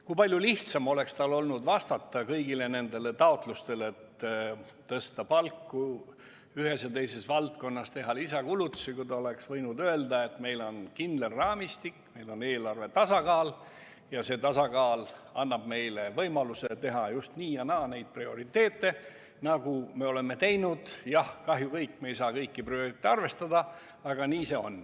Kui palju lihtsam oleks tal olnud vastata kõigile nendele taotlustele, et tõsta palku ühes ja teises valdkonnas, teha lisakulutusi, kui ta oleks võinud öelda, et meil on kindel raamistik, meil on eelarve tasakaal ja see tasakaal annab meile võimaluse seada just nii ja naa neid prioriteete, nagu me oleme teinud, aga jah, kahjuks ei saa me kõiki prioriteete arvestada, nii see on.